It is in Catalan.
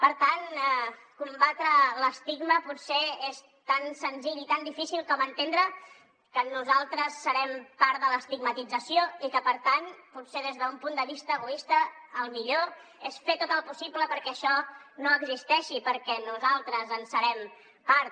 per tant combatre l’estigma potser és tan senzill i tan difícil com entendre que nosaltres serem part de l’estigmatització i que per tant potser des d’un punt de vista egoista el millor és fer tot el possible perquè això no existeixi perquè nosaltres en serem part